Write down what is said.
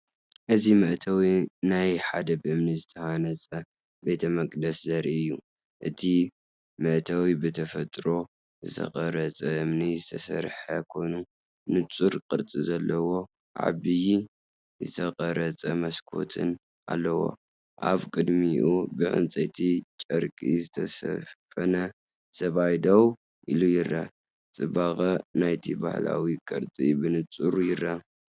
እዚ መእተዊ ናይ ሓደ ብእምኒ ዝተሃንጸ ቤተ መቕደስ ዘርኢ እዩ። እቲ መእተዊ ብተፈጥሮ ዝተቐርጸ እምኒ ዝተሰርሐ ኮይኑ፡ንጹር ቅርጺ ዘለዎን ዓቢ ዝተቐርጸ መስኮትን ኣለዎ። ኣብ ቅድሚኡ ብጻዕዳ ጨርቂ ዝተሸፈነ ሰብኣይ ደው ኢሉ ይረአ፡ጽባቐ ናይቲ ባህላዊ ቅርጺ ብንጹር ይርአ።"